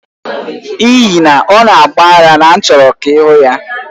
N'ihi na ọ na-agba ara na m chọrọ ka ị hụ ya.